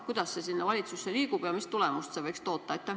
Kuidas see valitsusse liigub ja mis tulemust võiks loota?